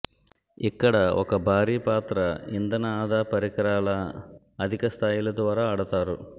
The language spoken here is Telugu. ఇక్కడ ఒక భారీ పాత్ర ఇంధన ఆదా పరికరాల అధిక స్థాయిలు ద్వారా ఆడతారు